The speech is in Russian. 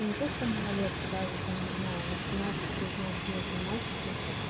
ну не то что малолетки даже там не знаю восемнадцать девятнадцатилетние мальчики